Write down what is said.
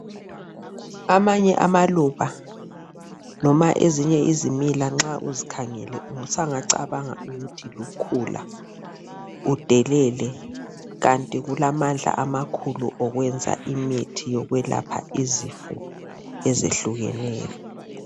Amanye amaluba loma ezinye izimila nxa uzikhangele sungacabanga ukuthi lukhula udelela, kanti kulamandla amakhulu kwenza imithi yokulapha ezifo ezehlukeneyo.